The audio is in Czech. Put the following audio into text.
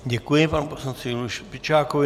Děkuji panu poslanci Juliu Špičákovi.